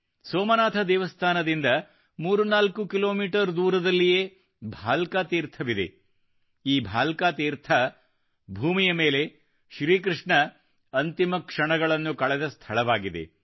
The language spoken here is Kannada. ಸೋಮನಾಥ ದೇವಸ್ಥಾನದಿಂದ 34 ಕಿಲೋಮೀಟರ್ ದೂರದಲ್ಲಿಯೇ ಭಾಲ್ಕ ತೀರ್ಥವಿದೆ ಈ ಭಾಲ್ಕ ತೀರ್ಥವು ಭೂಮಿಯ ಮೇಲೆ ಶ್ರೀಕೃಷ್ಣನು ಅಂತಿಮ ಕ್ಷಣಗಳನ್ನು ಕಳೆದ ಸ್ಥಳವಾಗಿದೆ